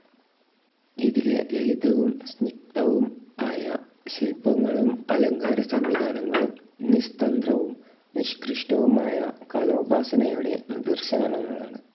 ഇതിലെ ലളിതവും സ്നിഗ്ധവും ആയ ശില്പങ്ങളും അലങ്കാരസംവിധാനങ്ങളും നിസ്തന്ദ്രവും നിഷ്കൃഷ്ടവുമായ കലോപാസനയുടെ നിദർശനങ്ങളാണ്.